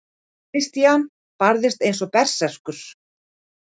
Christian barðist eins og berserkur.